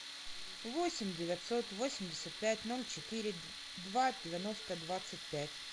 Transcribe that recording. восемь девятьсот восемьдесят пять ноль четыре два девяносто двадцать пять